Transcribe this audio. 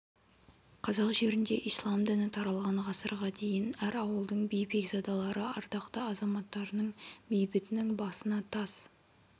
қазақ жерінде ислам діні таралған ғасырға дейін әр ауылдың би бекзадалары ардақты азаматтарының бейітінің басына тас